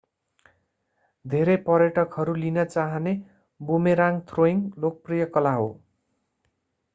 धेरै पर्यटकहरू लिन चाहने बुमेराङ्ग थ्रोइङ्ग लोकप्रिय कला हो